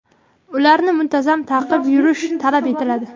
Ularni muntazam taqib yurish talab etiladi.